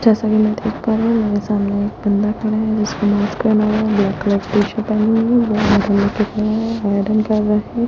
जैसा कि मैं देख पा रही हूं मेरे सामने एक बंदा खड़ा है जिसने मास्क पहना है ब्लैक कलर --